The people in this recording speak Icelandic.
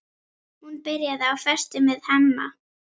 Hún byrjaði á föstu með Hemma.